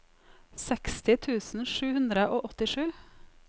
seksti tusen sju hundre og åttisju